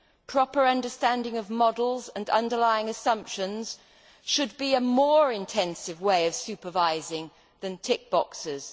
Proper understanding of models and underlying assumptions should be a more intensive way of supervising than tick boxes.